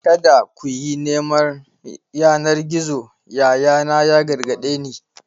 "Kada ku yi neman yanar gizo!" yayana ya gargade ni.